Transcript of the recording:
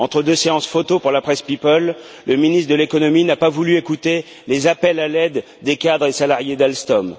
Entre deux séances photos pour la presse people, le ministre de l'économie n'a pas voulu écouter les appels à l'aide des cadres et salariés d'Alstom.